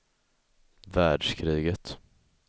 världskriget